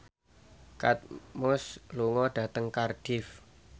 Kate Moss lunga dhateng Cardiff